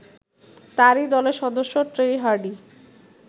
তাঁরই দলের সদস্য ট্রেই হার্ডি